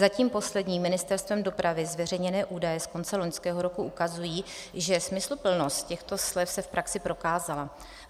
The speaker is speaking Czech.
Zatím poslední Ministerstvem dopravy zveřejněné údaje z konce loňského roku ukazují, že smysluplnost těchto slev se v praxi prokázala.